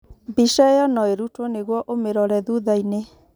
Mbica ĩyo no ĩrutwo nĩguo ũmirore thutha-inĩ.